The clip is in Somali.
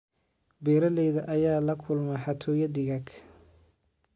Beeralayda ayaa la kulma xatooyo digaag.